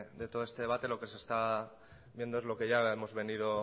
de todo este debate lo que se está viendo es lo que ya hemos venido